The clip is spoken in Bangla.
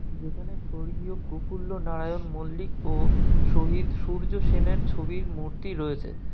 এখানে স্বর্গীয় কোফুল্ল নারায়ণ মল্লিক ও শহীদ সূর্য সেন এর ছবির মূর্তি রয়েছে। ।